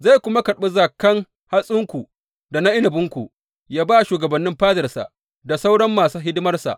Zai kuma karɓi zakan hatsinku da na inabinku yă ba shugabannin fadarsa da sauran masu hidimarsa.